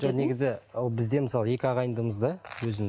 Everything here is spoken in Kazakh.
жоқ негізі ол біз де мысалы екі ағайындымыз да өзім